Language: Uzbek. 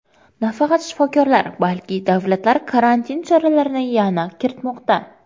Nafaqat shifokorlar, balki davlatlar karantin choralarini yana kiritmoqda.